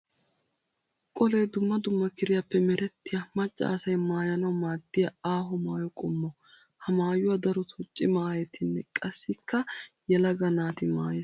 Qollee dumma dumma kiriyaape merettiya macca asay maayanawu maadiya aaho maayo qommo. Ha maayuwa darotto cimaa aayettinne qassikka yelaga naati maayes.